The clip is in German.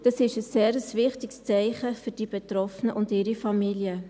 Es ist ein sehr wichtiges Zeichen für die Betroffenen und ihre Familien.